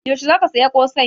Yaushe ka saya ƙosai?